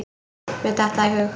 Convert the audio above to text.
Mér datt það í hug.